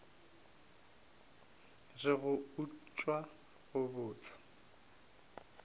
re go utswa go bose